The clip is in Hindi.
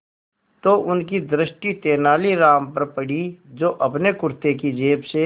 तो उनकी दृष्टि तेनालीराम पर पड़ी जो अपने कुर्ते की जेब से